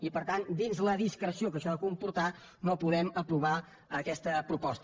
i per tant dins la discreció que això ha de comportar no podem aprovar aquesta proposta